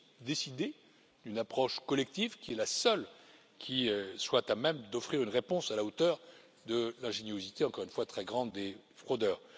Il s'agit de décider d'une approche collective qui est la seule qui soit à même d'offrir une réponse à la hauteur de l'ingéniosité, encore une fois très grande, des fraudeurs.